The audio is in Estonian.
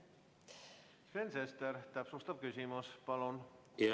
Sven Sester, täpsustav küsimus palun!